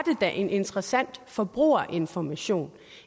da en interessant forbrugerinformation